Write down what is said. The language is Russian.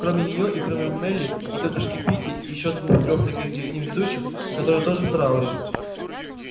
кроме неё и кроме мелли и тётушки питти и ещё двух-трёх таких же невезучих которые тоже в трауре